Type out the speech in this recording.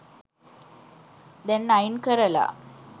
දැන් අයින් කරලා.